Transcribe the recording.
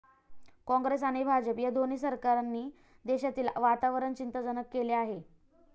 काँग्रेस आणि भाजप या दोन्ही सरकारांनी देशातील वातावरण चिंताजनक केले आहे.